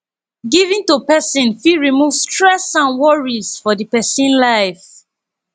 giving to person fit remove stress and worries for di person life